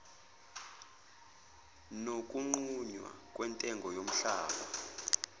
nokunqunywa kwentengo yomhlaba